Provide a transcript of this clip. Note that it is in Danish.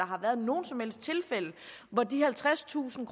har været nogen som helst tilfælde hvor de halvtredstusind